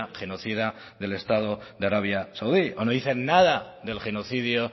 genocida del estado de arabia saudí o no dicen nada del genocidio